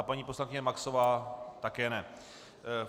A paní poslankyně Maxová také ne.